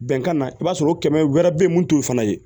Bɛnkan na i b'a sɔrɔ o kɛmɛ wɛrɛ bɛ ye mun t'o fana ye